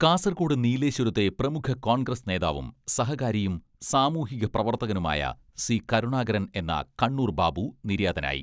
കാസർകോട് നീലേശ്വരത്തെ പ്രമുഖ കോൺഗ്രസ് നേതാവും സഹകാരിയും സാമൂഹിക പ്രവർത്തകനുമായ സി.കരുണാകരൻ എന്ന കണ്ണൂർ ബാബു നിര്യാതനായി.